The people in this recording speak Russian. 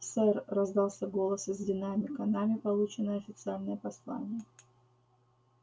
сэр раздался голос из динамика нами получено официальное послание